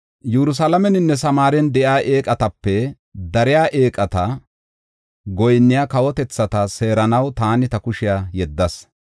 Yerusalaameninne Samaaren de7iya eeqatape dariya eeqata goyinniya kawotethata seeranaw taani ta kushiya yeddas.